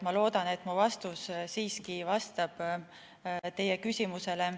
Ma loodan, et mu vastus siiski vastab teie küsimusele.